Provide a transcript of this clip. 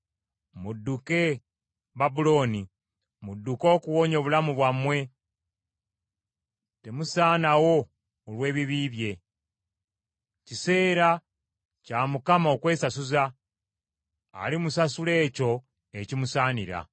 “Mudduke Babulooni. Mudduke okuwonya obulamu bwammwe. Temusaanawo olw’ebibi bye. Kiseera kya Mukama okwesasuza; alimusasula ekyo ekimusaanira.